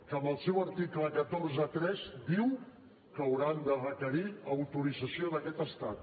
que en el seu article cent i quaranta tres diu que hauran de requerir autorització d’aquest estat